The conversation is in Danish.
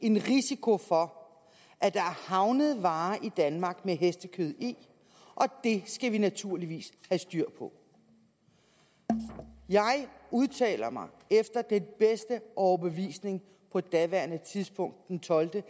en risiko for at der er havnet varer i danmark med hestekød i og det skal vi naturligvis have styr på jeg udtaler mig efter bedste overbevisning på daværende tidspunkt den tolvte